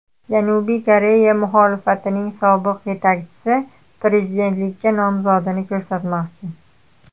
Janubiy Koreya muxolifatining sobiq yetakchisi prezidentlikka nomzodini ko‘rsatmoqchi.